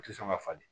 U tɛ sɔn ka falen